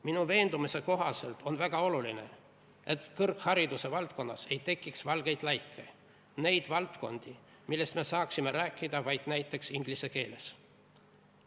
Minu veendumuse kohaselt on väga oluline, et kõrghariduse valdkonnas ei tekiks valgeid laike – neid valdkondi, millest me saaksime rääkida vaid näiteks inglise keeles.